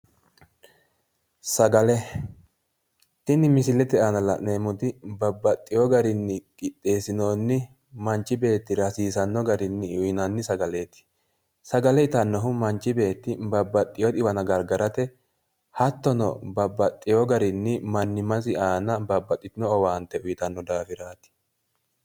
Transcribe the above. Sagale. tini misilete aana la'neemot babbaxewo garini qixeesinooni manichi beetra hasiisano garinni uyinanni sagaleet. Sagale itannohu manichi beet babbaxewo dhiwana garigadhate hattono babbaxewo garinni mannimasi aana babbaxitewo owaante uyitano daafiraat.